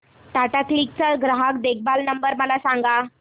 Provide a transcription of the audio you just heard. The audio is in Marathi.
टाटा क्लिक चा ग्राहक देखभाल नंबर मला सांगा